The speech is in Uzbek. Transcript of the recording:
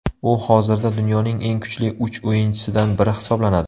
U hozirda dunyoning eng kuchli uch o‘yinchisidan biri hisoblanadi.